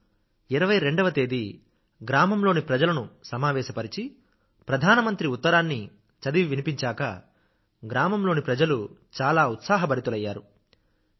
మేము 22 వ తేదీ గ్రామంలోని ప్రజలను సమావేశపరచి ప్రధానమంత్రి ఉత్తరాన్ని చదివి వినిపించాక గ్రామంలోని ప్రజలు చాలా ఉత్సాహభరితులైనారు